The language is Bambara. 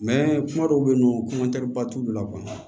kuma dɔw bɛ yen nɔ ba t'olu la